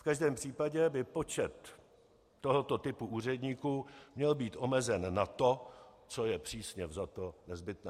V každém případě by počet tohoto typu úředníků měl být omezen na to, co je přísně vzato nezbytné.